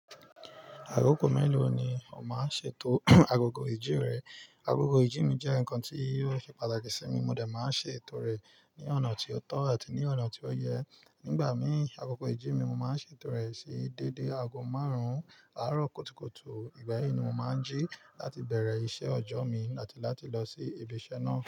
Akoko mélòó ni o máa ń ṣètò agogo ìjín rẹ? Agogo ìjí mi jẹ́ nǹkan tí ó ṣe pàtàkì sí mi, mo de máa ń ṣètò rẹ̀ ní ọ̀nà tí ó tọ́ àti ní ọ̀nà tí ó yẹ. Nígbà míì, agogo ìjí mi mo máa ń ṣètò rẹ̀ sí déédé ago márùn-ún àárọ̀ kutukutu, ìgbà yí ni mo máa ń jí láti bẹ̀rẹ̀ iṣẹ́ ọjọ́ mi àti láti lọ sí ibi iṣẹ́ náà.